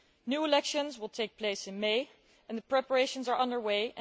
New elections will take place in May and the preparations are under way.